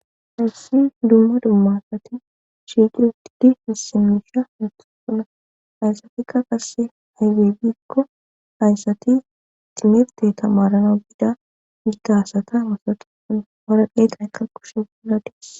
Hirsi dumma dummasati chiqirtidi hisimisha natusuna hayssatikka qasse haygebikko hayssati timirte tamarana gida giggasata mosatuun horaqeta ay kakushe guladis